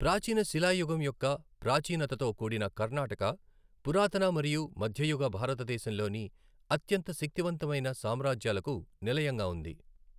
ప్రాచీన శిలా యుగం యొక్క ప్రాచీనతతో కూడిన కర్ణాటక, పురాతన మరియు మధ్యయుగ భారతదేశంలోని అత్యంత శక్తి వంతమైన సామ్రాజ్యాలకు నిలయంగా ఉంది.